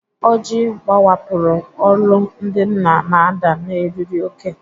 Ojii gbawapụrụ, olu ndị nna na-ada n'eriri òkè.